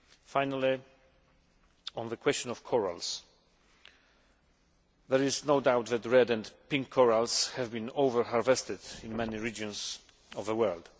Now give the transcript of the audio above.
Finally, on the question of corals, there is no doubt that red and pink corals have been overharvested in many regions of the world.